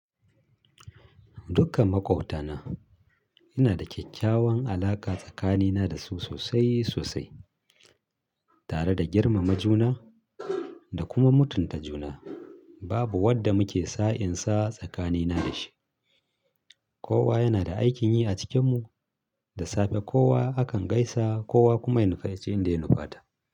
Dukkan maƙwabtana ina da kyakkyawan alaƙa tsakanina da su sosai sosai. Tare da girmama juna da kuma mutunta juna, babu wadda muke sa'in sa tsakanina da shi. Kowa yana da aikin yi a cikin mu, da safe kowa akan gaisa kowa kuma ya nufaci inda ya nufata.